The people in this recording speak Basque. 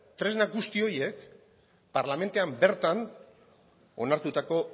tresna guzti horiek parlamentuan bertan onartutako